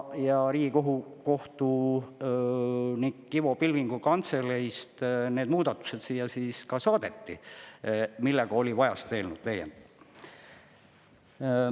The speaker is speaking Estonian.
Ja Riigikohtu nõuniku Ivo Pilvingu kantseleist need muudatused siia saadeti, millega oli vaja seda eelnõu täiendada.